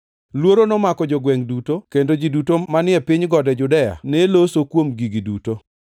Luoro nomako jogwengʼ duto, kendo ji duto manie piny gode Judea ne loso kuom gigi duto.